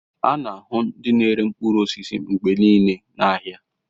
A na-ahụ ndị na-ere mkpụrụ osisi mgbe niile n'ahịa